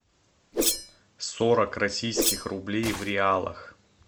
сорок российских рублей в реалах